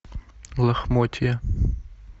лохмотья